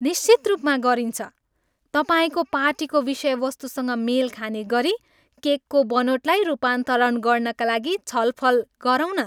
निश्चित रूपमा गरिन्छ! तपाईँको पार्टीको विषयवस्तुसँग मेल खाने गरी केकको बनोटलाई रूपान्तरण गर्नाका निम्ति छलफल गरौँ न।